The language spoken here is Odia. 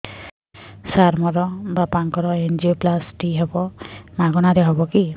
ସାର ମୋର ବାପାଙ୍କର ଏନଜିଓପ୍ଳାସଟି ହେବ ମାଗଣା ରେ ହେବ କି